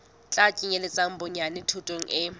tla kenyeletsa bonyane thuto e